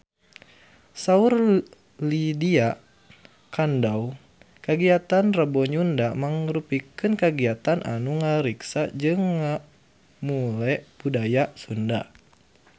Saur Lydia Kandou kagiatan Rebo Nyunda mangrupikeun kagiatan anu ngariksa jeung ngamumule budaya Sunda